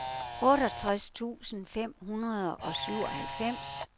otteogtres tusind fem hundrede og syvoghalvfems